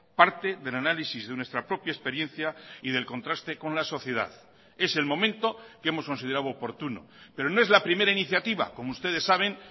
parte del análisis de nuestra propia experiencia y del contraste con la sociedad es el momento que hemos considerado oportuno pero no es la primera iniciativa como ustedes saben